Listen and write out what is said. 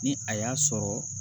Ni a y'a sɔrɔ